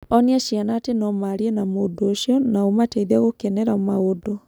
Onia ciana atĩ no maarie na mũndũ ũcio na ũmateithie gũkenera maũndu.